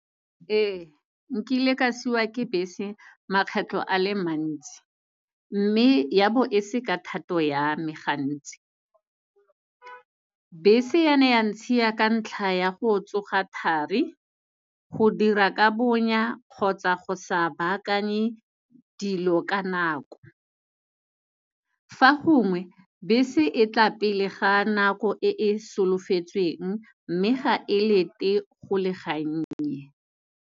Ee, nkile ke a siwa ke bese makgetlho a le mantsi, mme ya bo e se ka thato ya me gantsi. Bese ya ne ya ntshiya ka ntla ya go tsoga thari, go dira ka bonnya, kgotsa go sa bakanye dilo ka nako. Fa gongwe, bese etla pele ga nako e e solofetsweng, mme ga e lete go le gannye.